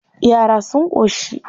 Yara sun ƙoshi.